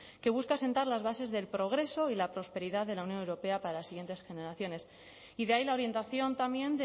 que busca sentar las bases del progreso y la prosperidad de la unión europea para las siguientes generaciones y de ahí la orientación también